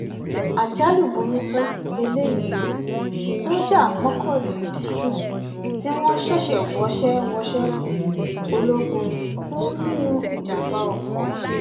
àjálù burúkú lélẹyìí ò sójà mọkàndíndún tí wọn ṣẹṣẹ wọṣẹ wọṣẹ ológun kù nínú ìjàmbá oko